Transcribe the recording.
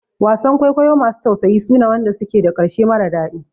Wasan kwaikwayo masu tausayi suna wanda suke da ƙarshe mara daɗi